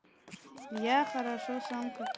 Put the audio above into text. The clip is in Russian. я хорошо сам как